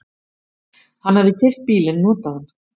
Hann hafði keypt bílinn notaðan.